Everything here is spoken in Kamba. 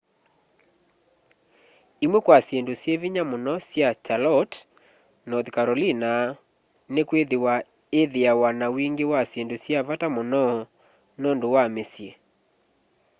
imwe kwa syindu syi vinya muno sya charlotte north carolina ni'kwithiwa ithiawa na wingi wa syindu sya vata muno nundu wa misyi